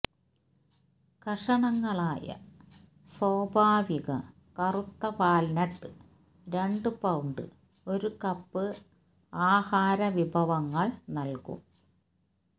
കഷണങ്ങളായ സ്വാഭാവിക കറുത്ത വാൽനട്ട് രണ്ട് പൌണ്ട് ഒരു കപ്പ് ആഹാരവിഭവങ്ങൾ നൽകും